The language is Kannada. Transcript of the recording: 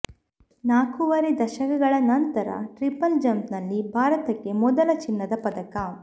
ನಾಲ್ಕೂವರೆ ದಶಕಗಳ ನಂತರ ಟ್ರಿಪಲ್ ಜಂಪ್ನಲ್ಲಿ ಭಾರತಕ್ಕೆ ಮೊದಲ ಚಿನ್ನದ ಪದಕ